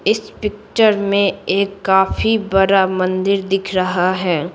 इस पिक्चर में एक काफी बड़ा मंदिर दिख रहा है।